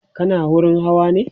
kana wurin Hawa ne?